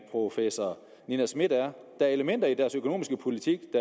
professor nina smith der er elementer i deres økonomiske politik